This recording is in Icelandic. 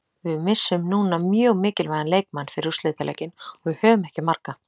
Við missum núna mjög mikilvægan leikmann fyrir úrslitaleikinn og við höfum ekki marga.